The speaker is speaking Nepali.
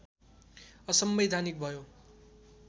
असंवैधानिक भयो